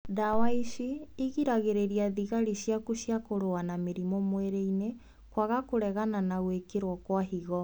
Ndawa ici igiragĩrĩria thigari ciaku cia kũrũa na mĩrimũ mwĩrĩ-inĩ kwaga kũregana na gwĩkĩrwo kwa higo